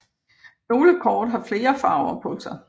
Nogle kort har flere farver på sig